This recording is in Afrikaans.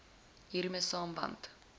hiermee saam want